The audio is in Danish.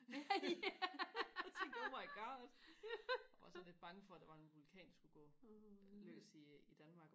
jeg tænkte oh my god jeg var sådan lidt bange for der var en vulkan der skulle gå i løs i i Danmark